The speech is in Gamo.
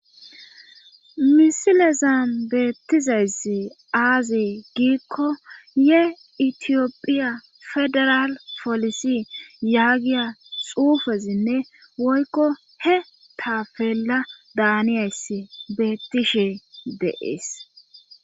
Misile zambeettizayssi aazi giikko ye itiyopphiya federal polisi yaagiya xuufezinne woykko he taafeella daaniyayss beettishe deees.